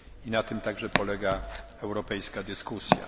Na tym także polega europejska dyskusja.